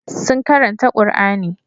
Sun karanta Qur'ani.